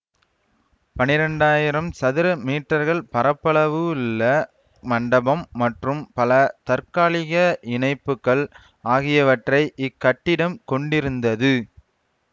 பனிரெண்டாயிரம் சதுர மீட்டர்கள் பரப்பளவுள்ள மண்டபம் மற்றும் பல தற்காலிக இணைப்புகள் ஆகியவற்றை இக்கட்டிடம் கொண்டிருந்தது